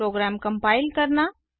programme compile करना